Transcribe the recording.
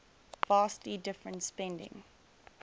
vastly different spending